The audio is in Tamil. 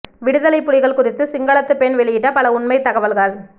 விடுதலை புலிகள் குறித்து சிங்களத்து பெண் வெளியிட்ட பல உண்மைத் தகவல்கள்